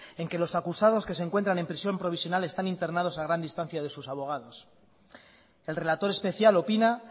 en que los acusados que se encuentran en prisión provisional están internados a gran distancia de sus abogados el relator especial opina